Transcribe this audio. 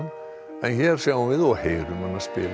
en hér sjáum við og heyrum hana spila